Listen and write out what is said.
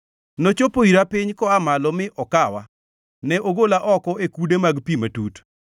Nochopo ira piny koa malo mi okawa; ne ogola oko e kude mag pi matut.